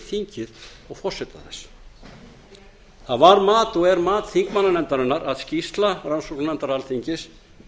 þingið og forseta þess það var mat og er mat þingmannanefndarinnar að skýrsla rannsóknarnefndar alþingis